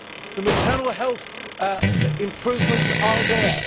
The maternal health improvements are there.